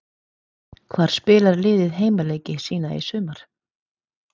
Hvar spilar liðið heimaleiki sína í sumar?